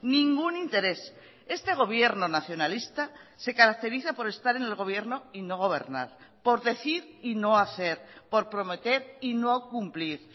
ningún interés este gobierno nacionalista se caracteriza por estar en el gobierno y no gobernar por decir y no hacer por prometer y no cumplir